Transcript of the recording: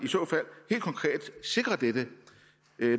helt konkret sikre dette